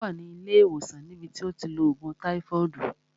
Ó wà ní ilé ìwòsàn ní bi tí ó ti ń lo ògùn táífọọdu